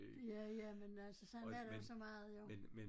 Ja ja men altså sådan er der så meget jo